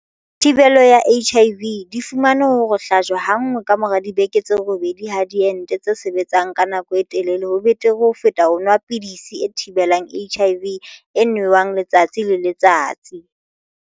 Thi-belo ya HIV, di fumane hore ho hlajwa ha nngwe ka mora dibeke tse robedi ha diente tse sebetsang ka nako e telele ho betere ho feta ho nwa pidisi e thibelang HIV e nwewang letsatsi le letsatsi.